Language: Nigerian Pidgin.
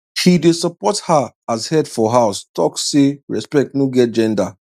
he dey support her as head for house talk say respect no get gender